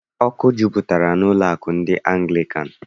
Ọkụ jupụtara n'ụlọụka ndị Anglịkan.